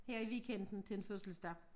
Her i weekenden til en fødselsdag